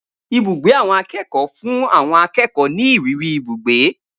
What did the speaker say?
Ibùgbé àwọn akékòó fún àwon akékòó mi ìrírí ibugbe